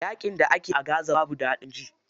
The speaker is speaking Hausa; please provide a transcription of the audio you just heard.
Yaƙin da ake a gaza babu daɗin ji.